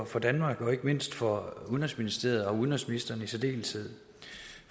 for danmark og ikke mindst for udenrigsministeriet og udenrigsministeren i særdeleshed